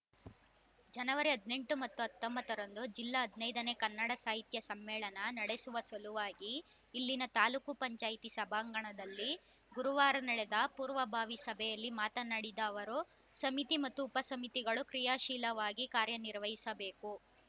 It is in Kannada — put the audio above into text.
ಜನವರಿ ಹದಿನೆಂಟು ಮತ್ತು ಹತ್ತೊಂಬತ್ತರಂದು ಜಿಲ್ಲಾ ಹದಿನೈದನೇ ಕನ್ನಡ ಸಾಹಿತ್ಯ ಸಮ್ಮೇಳನ ನಡೆಸುವ ಸಲುವಾಗಿ ಇಲ್ಲಿನ ತಾಲೂಕು ಪಂಚಾಯಿತಿ ಸಭಾಂಗಣದಲ್ಲಿ ಗುರುವಾರ ನಡೆದ ಪೂರ್ವಭಾವಿ ಸಭೆಯಲ್ಲಿ ಮಾತನಾಡಿದ ಅವರು ಸಮಿತಿ ಮತ್ತು ಉಪ ಸಮಿತಿಗಳು ಕ್ರೀಯಾಶೀಲವಾಗಿ ಕಾರ್ಯ ನಿರ್ವಹಿಸಬೇಕು